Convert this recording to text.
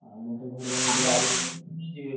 ମର ତ ଘର